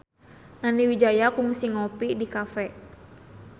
Nani Wijaya kungsi ngopi di cafe